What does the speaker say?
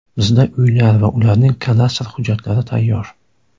Bizda uylar va ularning kadastr hujjatlari tayyor.